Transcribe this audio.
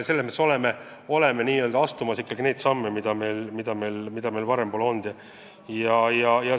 Selles mõttes me oleme astumas samme, mida enne pole astunud.